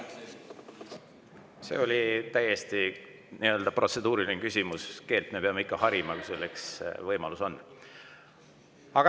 See oli täiesti protseduuriline küsimus, aga me peame ikka harima, kui selleks võimalus on.